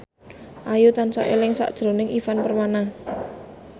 Ayu tansah eling sakjroning Ivan Permana